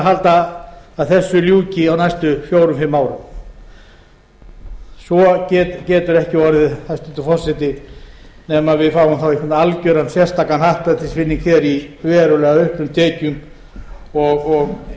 halda að þessu ljúki á næstu fjórum fimm árum svo getur ekki orðið hæstvirtur forseti nema við fáum þá einhvern algjöran sérstakan happdrættisvinning hér í verulega auknum tekjum og